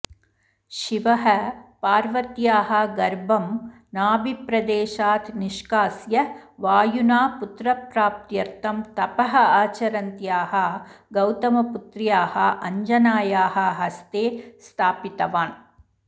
शिवः पार्वत्याः गर्भं नाभिप्रदेशात् निष्कास्य वायुना पुत्रप्राप्त्यर्थं तपः आचरन्त्याःगौतमपुत्र्याः अञ्जनायाः हस्ते स्थपितवान्